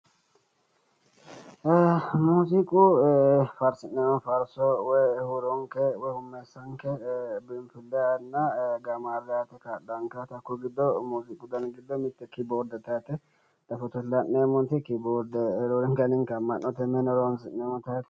Muuziiqu faarsi'neemmo faarso woyi huuronke woyi hummeessanke biinfillenna gaamaarre aate kaa'laanke muuziiqu dani giddo mitte kiboordete yaate fotote la'neemmoti kiboorde roorenkanni amma'note horonsi'neemmo.